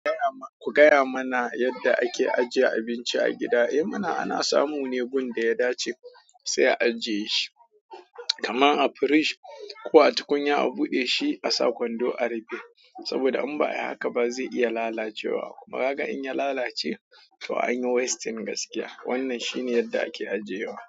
Ku gaya mana yadda ake ajiye abinci a gida. Eh mana ana samu ne gun da ya dace sai a'a jiye shi, kaman a fridge ko a tukunya a'bude shi a sa kwando a rufe. Saboda in ba a yi haka ba zai iya lalacewa kuma kaga in ya lalace to anyi wasting gaskiya. Wannan shi ne yadda ake ajiyewa.